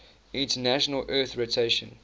international earth rotation